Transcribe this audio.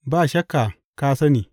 Ba shakka ka sani!